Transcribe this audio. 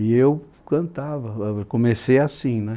E eu cantava, é eu comecei assim, né?